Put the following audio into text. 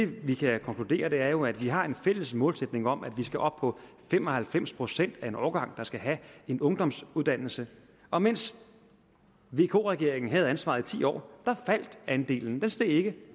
vi kan konkludere er jo at vi har en fælles målsætning om at vi skal op på fem og halvfems procent af en årgang der skal have en ungdomsuddannelse og mens vk regeringen havde ansvaret i ti år faldt andelen den steg ikke